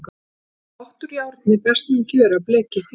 Í pott úr járni best mun gjöra blekið þér.